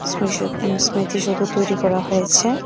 স্মেষদ এমস্মেতি সৌধ তৈরি করা হয়েছে।